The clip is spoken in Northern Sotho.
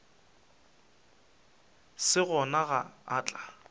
se gona ge a tla